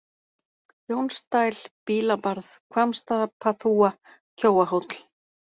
Jónsdæl, Bílabarð, Hvammsstapaþúfa, Kjóahóll